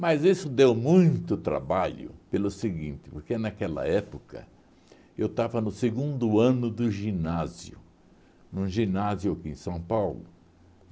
Mas isso deu muito trabalho pelo seguinte, porque naquela época eu estava no segundo ano do ginásio, num ginásio aqui em São Paulo.